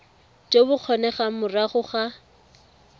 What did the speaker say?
jo bo kgonegang morago ga